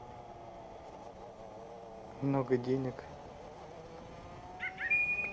много денег